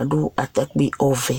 aɖʋ ataƙpi ɔvɛ